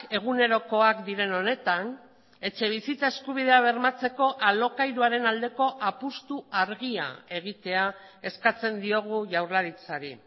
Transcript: egunerokoak diren honetan etxebizitza eskubidea bermatzeko alokairuaren aldeko apustu argia egitea eskatzen diogu jaurlaritzari